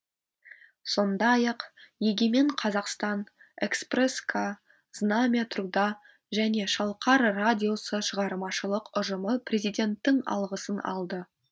сондай ақ егемен қазақстан экспресс к знамя труда және шалқар радиосы шығармашылық ұжымы президенттің алғысын алды